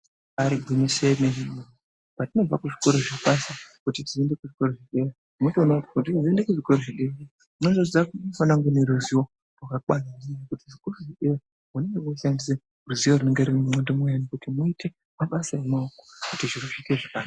Ibari gwinyiso yemene patinobva kuzvikora zvepashi kuti tizoende kuzvikora zvedera unotoone kuti patinozoende kuzvikora zvepadera tinozviziya unofana kunge une ruzivo rakakwana ngenyaya yekuti chikoro chedera vane voshandise ruzivo runenge riri mundxondo muani kuti muite mabasa emaoko kuti zviro zviite zvakana.